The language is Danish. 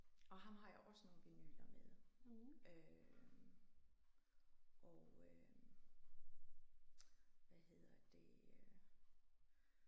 Og ham har jeg også nogle vinyler med øh og øh hvad hedder det øh